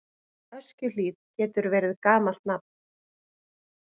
Öskjuhlíð getur verið gamalt nafn.